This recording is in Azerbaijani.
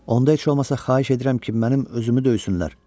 Onda heç olmasa xahiş edirəm ki, mənim özümü döysünlər.